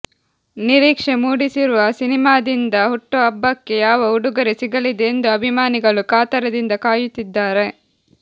ನಿರೀಕ್ಷೆ ಮೂಡಿಸಿರುವ ಸಿನಿಮಾದಿಂದ ಹುಟ್ಟುಹಬ್ಬಕ್ಕೆ ಯಾವ ಉಡುಗೊರೆ ಸಿಗಲಿದೆ ಎಂದು ಅಭಿಮಾನಿಗಳು ಕಾತರದಿಂದ ಕಾಯುತ್ತಿದ್ದಾರೆ